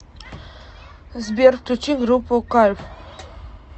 сбер включи группу кайф